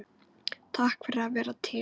Takk fyrir að vera til.